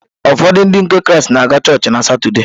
Ụfọdụ Ndị nke Kraịst na-aga chọọchị na Satọde.